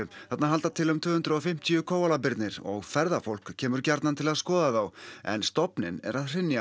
þarna halda til um tvö hundruð og fimmtíu og ferðafólk kemur gjarnan til að skoða þá en stofninn er að hrynja